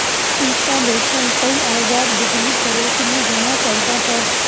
installation ਕਈ ਆਜ਼ਾਦ ਬਿਜਲੀ ਸਰੋਤ ਨੂੰ ਹੋਣਾ ਚਾਹੀਦਾ ਹੈ